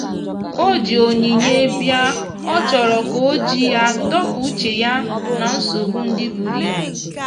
o ji onyinye biaọ chọrọ ka oji ya dọpụ uche ya na nsogbo ndi buru ibụ.